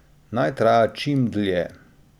Naj traja čim dlje.